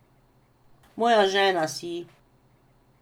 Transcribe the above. Moja žena si.